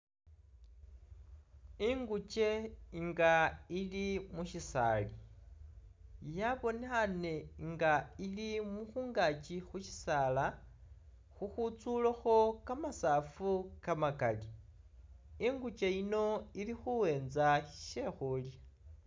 Ingukye nga ili mu syisaali, yabonekhaane nga ili mungaaki khu syisaala khukhwitsulekho kamasafu kamakali. Inguke yino ili khuwenza sye khulya.